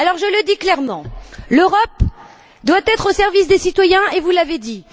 Je le dis clairement l'Europe doit être au service des citoyens, et vous l'avez dit.